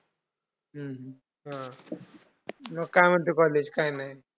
हम्म हा मग काय म्हणते college काय नाय?